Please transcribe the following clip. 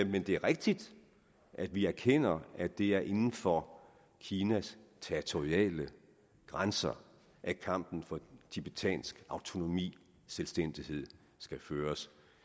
men det er rigtigt at vi erkender at det er inden for kinas territoriale grænser at kampen for tibetansk autonomi selvstændighed skal føres